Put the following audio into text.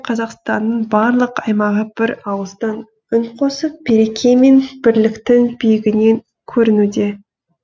қазақстанның барлық аймағы бір ауыздан үн қосып береке мен бірліктің биігінен көрінуде